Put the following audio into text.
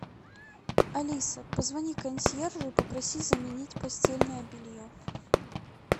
алиса позвони консьержу и попроси заменить постельное белье